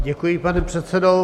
Děkuji, pane předsedo.